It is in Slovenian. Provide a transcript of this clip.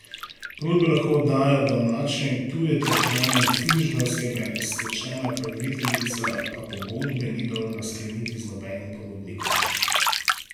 Ponudbe lahko oddajo domače in tuje ter pravne in fizične osebe, stečajna upraviteljica pa pogodbe ni dolžna skleniti z nobenim ponudnikom.